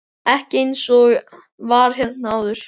Ekki eins og var hérna áður.